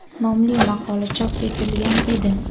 nomli maqola chop etilgan edi.